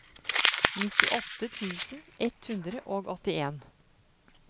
nittiåtte tusen ett hundre og åttien